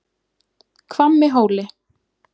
Hvammi Hóli